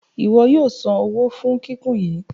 Ìwo yóò sàn owó fún kíkún yìí.